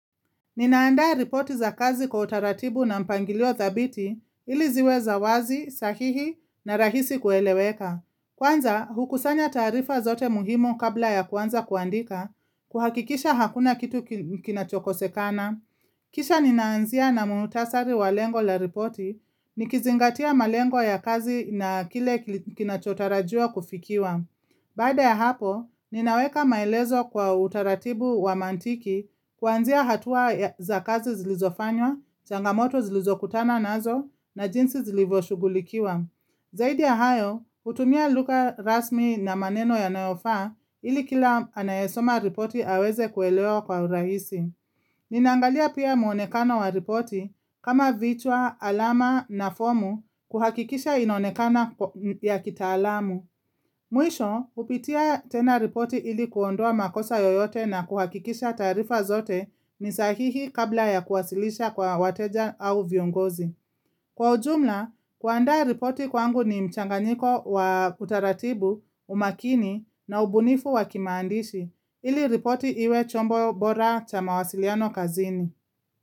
Ninaandaa ripoti za kazi kwa utaratibu na mpangilio thabiti ili ziwe za wazi, sahihi na rahisi kueleweka. Kwanza, hukusanya taarifa zote muhimu kabla ya kwanza kuandika, kuhakikisha hakuna kitu kinachokosekana. Kisha ninaanzia na muutasari wa lengo la ripoti, nikizingatia malengo ya kazi na kile kinachotarajia kufikiwa. Baada ya hapo, ninaweka maelezo kwa utaratibu wa mantiki kuanzia hatua za kazi zilizofanywa, changamoto zilizokutana nazo na jinsi zilivoshugulikiwa. Zaidi ya hayo, utumia lugha rasmi na maneno yanayofa ili kila anayesoma ripoti aweze kueleo kwa uraisi. Ninangalia pia muonekana wa ripoti kama vichwa, alama na fomu kuhakikisha inonekana ya kitaalamu. Mwisho, hupitia tena ripoti ili kuondua makosa yoyote na kuhakikisha tarifa zote ni sahihi kabla ya kuwasilisha kwa wateja au viongozi. Kwa ujumla, kuanda ripoti kwangu ni mchanganiko wa utaratibu, umakini na ubunifu wa kimandishi. Ili ripoti iwe chombo bora cha mawasiliano kazini.